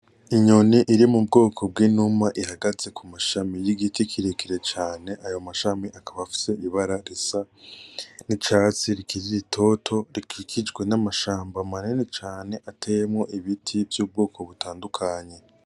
Inyoni iri mu bwoko bw'inuma ihagaze ku mashami y'igiti kirekire cane, ayo mashami akaba afise ibara risa n'icatsi rikiri ritoto, rikikijwe n'amashamba manini cane ateyemwo ibiti vy'ubwoko butandukanye.